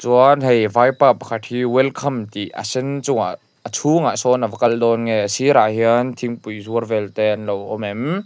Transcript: chuan hei vaipa pakhat hi welcome tih a sen chungah a chhûngah sâwn a va kal dâwn nge a sîrah hian thingpui zuar vêlte an lo awm em.